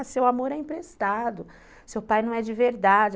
Ah, seu amor é emprestado, seu pai não é de verdade.